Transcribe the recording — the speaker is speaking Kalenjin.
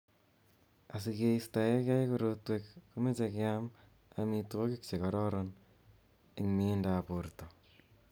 Asikeisto kei korotwek komochei keam amitwogik che kororon eng mieindap borto